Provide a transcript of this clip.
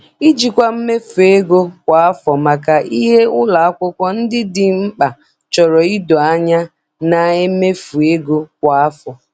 Ijikwa mmefu ego kwa afọ maka ihe ụlọ akwụkwọ ndị dị mkpa chọrọ ido anya na-emefu ego kwa afọ.